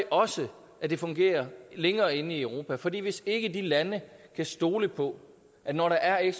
også at det fungerer længere inde i europa fordi hvis ikke de lande kan stole på at når der er